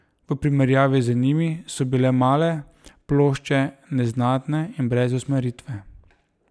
V primerjavi z njimi so bile male plošče neznatne in brez usmeritve.